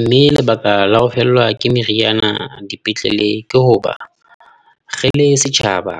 Mme lebaka la ho fellwa ke meriana dipetlele ke hoba re le setjhaba